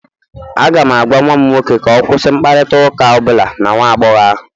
Aga m agwa nwa m nwoke ka ọ kwụsị mkparịta ụka ọ bụla na nwa agbọghọ ahụ